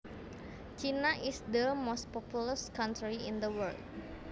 China is the most populous country in the world